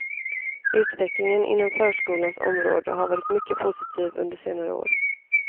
Utvecklingen inom förskolans område har varit mycket positiv under senare år.